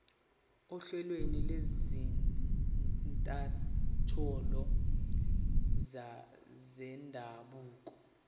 ohlelweni lwezinkantolo zendabuko